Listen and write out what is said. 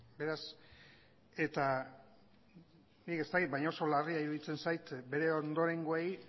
beraz eta nik ez dakit baina oso larria iruditzen zait bere ondorengoei